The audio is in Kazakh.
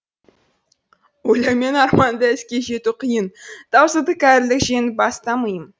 ойлаумен арманды іске жету қиын таусылды кәрілік жеңіп баста миым